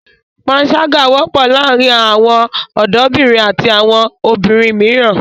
Pańṣágà wọ́pọ̀ láàárin àwọn ọ̀dọ́bìnrin àti àwọn obìnrin mìíràn.